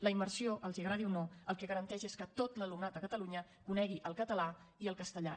la immersió els agradi o no el que garanteix és que tot l’alumnat a catalunya conegui el català i el castellà